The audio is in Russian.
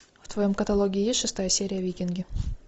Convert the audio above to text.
в твоем каталоге есть шестая серия викинги